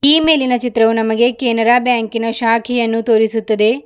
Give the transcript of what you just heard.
ಈ ಮೇಲಿನ ಚಿತ್ರವು ನಮಗೆ ಕೆನರಾ ಬ್ಯಾಂಕಿ ನ ಶಾಖೆಯನ್ನು ತೋರಿಸುತ್ತದೆ.